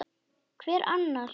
Hver annar?